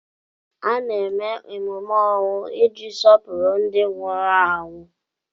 A na-eme emume ọnwụ iji sọpụrụ ndị nwụrụ anwụ.